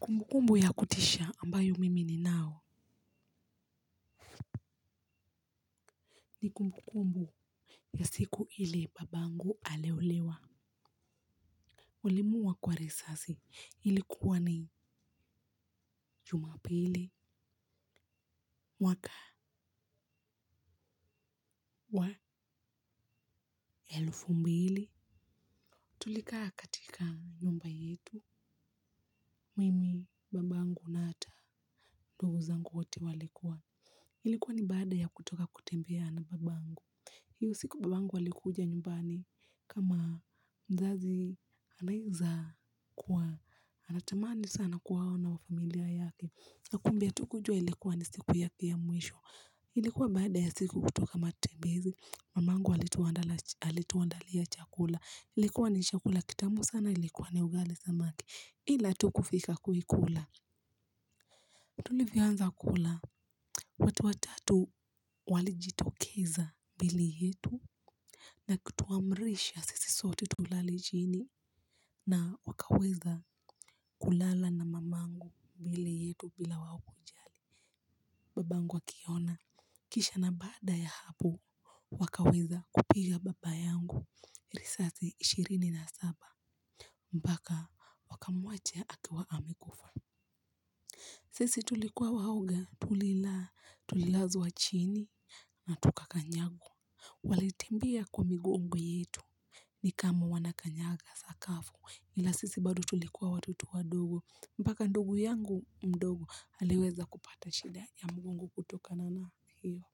Kumbukumbu ya kutisha ambayo mimi ni nao ni kumbukumbu ya siku ile babangu aliuliwa. Walimuuwa kwa risasi ilikuwa ni jumapili mwaka wa elfumbili. Tulika katika nyumba yetu mimi babangu na hata ndungu zanguwote walikuwa. Ilikuwa ni baada ya kutoka kutembea na babangu. Hii siku babangu alikuja nyumbani kama mzazi anaweza kuwa anatamani sana kuwaona wafamilia yake na kumbeha tukujua ilikuwa ni siku yake ya mwisho. Ilikuwa baada ya sisi kutoka matembezi mamangu alituandalia chakula ilikuwa ni chakula kitamu sana ilikuwa ni ugali samaki ila tukufika kuikula. Tulivyoanza kula watu watatu walijitokeza mbele yetu. Na kutuamrisha sisi sote tulale chini na wakaweza kulala na mamangu mbele yetu bila waokujalibabangu akiona kisha na baada ya hapo wakaweza kupiga baba yangu risasi ishirini na saba mpaka wakamwacha akiwa amekufa. Sisi tulikuwa waoga tulila tulilazwa chini na tukakanyagwa. Walitembea kwa migo ngo yetu. Nikama wanakanyaga sakafu ila sisi bado tulikuwa wato towadogo mpaka ndugu yangu mdogo aliweza kupata shida ya mgongo kutoka nana hiyo.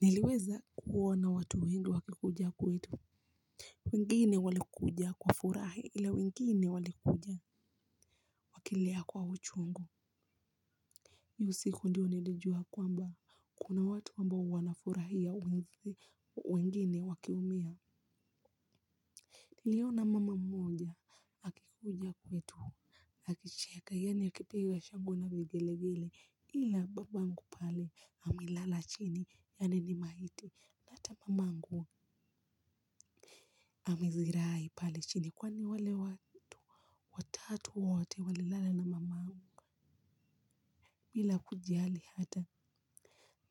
Niliweza kuona watu wengi wakikuja kwetu. Wengine walikuja kwa furahi ila wengine walikuja. Wakilia kwa uchu ungu hiyosiku ndiyo nilijua kwamba kuna watu ambao wanafurahia wengine wakiumia niliona mama mmoja akikuja kwetu akicheka yaani akipiga shangwe na vigele vile ila babangu pale amelala chini yaani ni maiti na mamangu amezirai pale chini kwani wale watatu wote walilala na mamangu. Bila kujali hata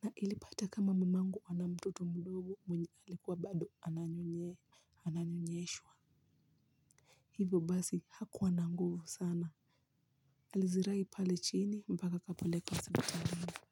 na ilipata kama mamangu ana mtoto mdogo mwenye alikuwa bado ananyonye ananyonyeshwa. Hivyo basi hakuwa nanguvu sana. Alizira ipale chini mpaka kapelek wa hospitali.